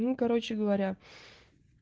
ну короче говоря